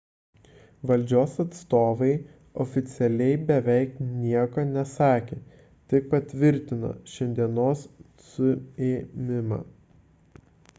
valdžios atstovai oficialiai beveik nieko nesakė tik patvirtino šiandienos suėmimą